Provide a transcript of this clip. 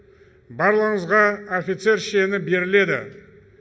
барлығыңызға офицер шені беріледі